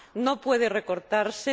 no puede recortarse